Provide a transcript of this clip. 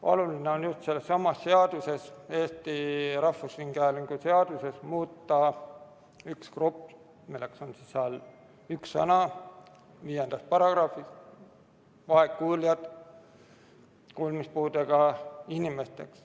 Oluline on just selles seaduses – Eesti Rahvusringhäälingu seaduses – muuta üks grupp, õigemini üks sõna §-s 5, "vaegkuuljatele", "kuulmispuudega inimestele".